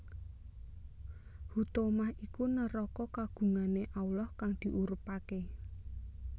Huthomah iku neraka kagungane Allah kang diurubake